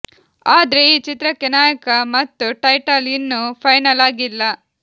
ಆದ್ರೆ ಈ ಚಿತ್ರಕ್ಕೆ ನಾಯಕ ಮತ್ತು ಟೈಟಲ್ ಇನ್ನು ಫೈನಲ್ ಆಗಿಲ್ಲ